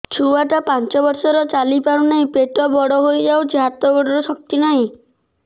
ଛୁଆଟା ପାଞ୍ଚ ବର୍ଷର ଚାଲି ପାରୁନାହଁ ପେଟ ବଡ ହୋଇ ଯାଉଛି ହାତ ଗୋଡ଼ର ଶକ୍ତି ନାହିଁ